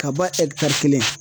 Ka ban kelen